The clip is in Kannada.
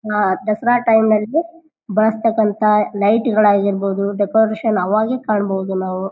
ಆಹ್ಹ್ ದಸರಾ ಟೈಮ್ ನಲ್ಲಿ ಬರ್ತಕ್ಕಂಥ ಲೈಟ್ ಗಳು ಆಗಿರ್ಬಹುದು ಡೆಕೋರೇಷನ್ ಆವಾಗೆ ಕಾಣಬಹುದು ನಾವು.